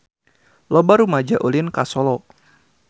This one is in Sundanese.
Loba rumaja ulin ka Solo